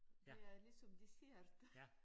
Det er ligesom dessert